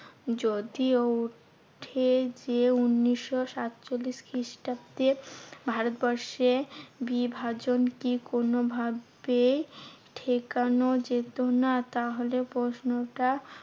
যদিও উঠে যে, উনিশশো সাতচল্লিশ খ্রিস্টাব্দে ভারতবর্ষের বিভাজন কি কোনোভাবে ঠেকানো যেত না? তাহলে প্রশ্নটা